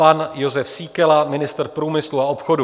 Pan Jozef Síkela, ministr průmyslu a obchodu.